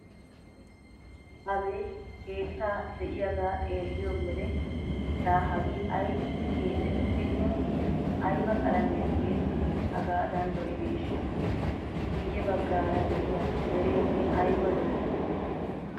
Abeeti keetta de'iyagaa xeelliyo wode laa hagee aybippe keexettidinne ayba qalamiya tiyettidi hagaadan lo'ideeshsha! Guyye baggaara de'iya dereenne ayba lo'ii?